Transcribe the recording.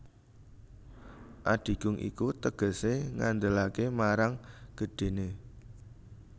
Adigung iku tegesé ngandelaké marang gedhéné